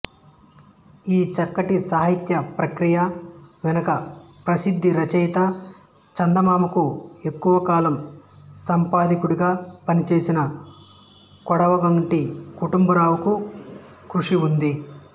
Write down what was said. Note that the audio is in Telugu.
ఈ చక్కటి సాహిత్య ప్రక్రియ వెనుక ప్రసిద్ధ రచయిత చందమామకు ఎక్కువకాలం సంపాదకుడిగా పనిచేసిన కొడవటిగంటి కుటుంబరావు కృషి ఉంది